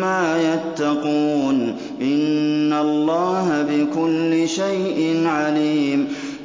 مَّا يَتَّقُونَ ۚ إِنَّ اللَّهَ بِكُلِّ شَيْءٍ عَلِيمٌ